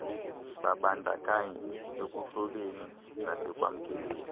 babandakanyeke ekuhloleni nasekwamkeleni